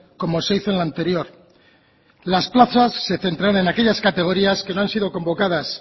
como se hizo en la anterior las plazas se centrarán en aquellas categorías que no han sido convocadas